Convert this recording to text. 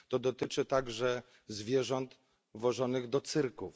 To dotyczy także zwierząt wożonych do cyrków.